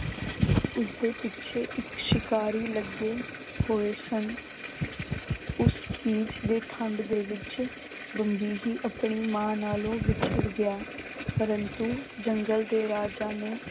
ਉਸਦੇ ਪਿੱਛੇ ਇੱਕ ਸ਼ਿਕਾਰੀ ਲੱਗੇ ਹੋਏ ਸਨ ਉਸ ਦੇ ਠੰਢ ਦੇ ਵਿੱਚ ਬੰਬੀਹੀ ਆਪਣੀ ਮਾਂ ਨਾਲੋ ਵਿਛੜ ਗਿਆ ਪਰੰਤੂ ਜੰਗਲ ਦੇ ਰਾਜਾ ਨੇ